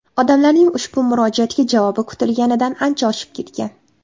Odamlarning ushbu murojaatga javobi kutilganidan ancha oshib ketgan.